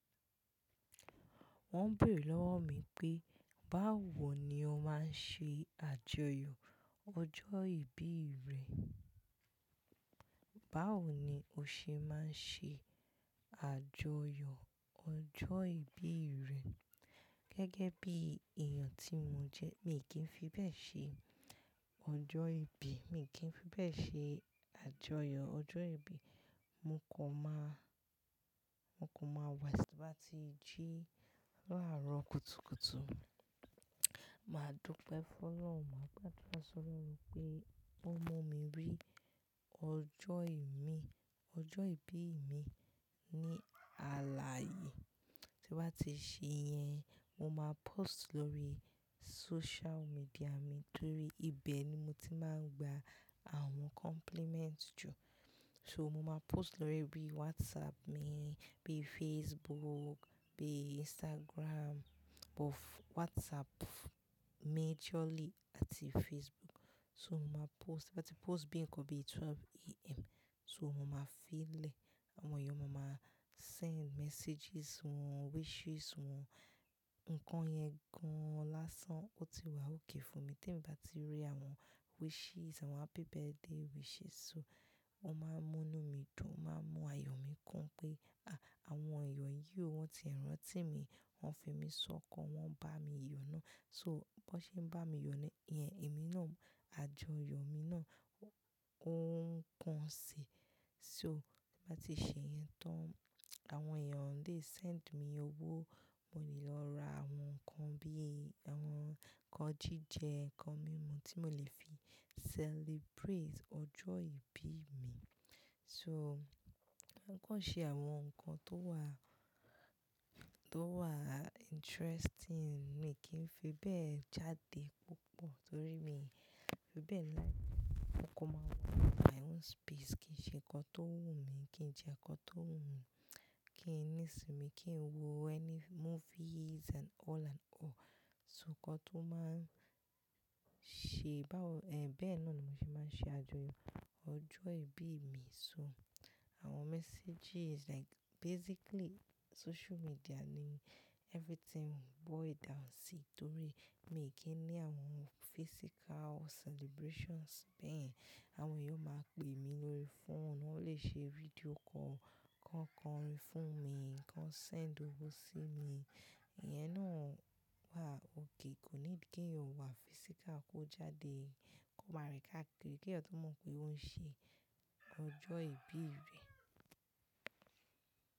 Wọ́n ń bèrè lọ́wọ́ mi pé báwo ni o máa ń ṣe àjọyọ̀ ọjọ́ ìbí rẹ? Báwo ni o ṣe máa ń ṣe àjọyọ̀ ọjọ́ ìbí rẹ? Gẹ́gẹ́ bí èèyàn tí mo jẹ́, mi kì í fi bẹ́ẹ̀ ṣe ọjọ́ ìbí. Mi kì í fi bẹ́ẹ̀ ṣe àjọyọ̀ ọjọ́ ìbí. Mo kàn ma, mo kàn mọ̀ wẹẹ tí bá ti jí láàárọ̀ kùtùkùtù, màá dúpẹ́ fún Ọlọ́run, máa gbàdúrà sọ̀rọ̀ lórí pé ó mú mi rí ọjọ́ ìbí mi ní aláyè. Tí n bá ti ṣe yẹn, mo máa post lórí social media mi torí ibẹ̀ ni mo ti máa ń gba àwọn compliments jù. So mo máa post lórí bí WhatsApp mi, bí Facebook, bí Instagram, but WhatsApp majorly àti Facebook. So mo máa post, tíbá ti post bí ń kan bí 12am so mo máa fílẹ̀. Àwọn èèyàn máa máa send messages wọn, wishes wọn. Nǹkan yẹn gan-an lásán, ó ti wà okay fún mi. Tí èmi bá ti rí àwọn wishes, àwọn happy birthday wishes so wọ́n máa ń múnu mi dùn, wọ́n máa ń mú ayọ̀ mi kún pé àwọn èèyàn yìí o, wọ́n tiẹ̀ rántí mi, wọ́n fi mí sọ́kan, wọ́n ń bá mi yọnu. So bó ṣe ń bá mi yọ ni ìyẹn, èmi náà, àjọyọ̀ mi náà ó ń pọ̀ si. So bá ti ṣe yẹn tán, àwọn èèyàn lè send mi owó, mo lè lọ ra àwọn nǹkan bí àwọn nǹkan jíjẹ, nǹkan mímú tí mo lè fi celebrate ọjọ́ ìbí mi. So nǹkan ṣe àwọn nǹkan tó wà, tó wà interesting. Mi kì í fi bẹ́ẹ̀ jáde púpọ̀ torí mi ò fi bẹ́ẹ̀ láé. Mo kò mọ, my own space, kí n ṣe nǹkan tó wù mí, kí n jẹ nǹkan tó wù mí, kí n ní ìsinmi, kí n wo any movies and all and all. So nǹkan tó máa ṣe báwo, ẹ́ bẹ́ẹ̀ náà ni mo ṣe máa ń ṣe àjọyọ̀ ọjọ́ ìbí mi. So àwọn messages like basically social media ni everything boil down si torí mi kì í ní àwọn physical celebrations bẹ́ẹ̀. Àwọn èèyàn ó máa ń pè mí lórí fóònù, wọ́n lè ṣe video call, kàn kọ́ orin fún mi, kàn send owó sí mi. Ìyẹn náà wà okay, kò ní dí kí èèyàn wà physical kó jáde kó máa rìn káàkiri kí èèyàn tó mọ̀ pé ó ń ṣe ọjọ́ ìbí rẹ̀.